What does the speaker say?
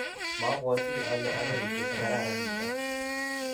mabwoti ale arorutiet nekararan nito.